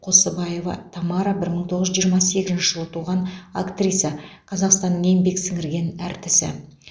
қосыбаева тамара бір мың тоғыз жүз жиырма сегізінші жылы туған актриса қазақстанның еңбек сіңірген әртісі